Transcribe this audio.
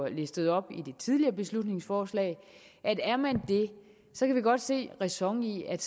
listet op i det tidligere beslutningsforslag så kan vi godt se ræson i at